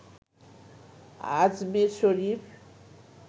Ajmer Sharif